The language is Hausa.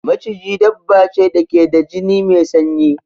Maciji dabba ce da ke da jini mai sanyi.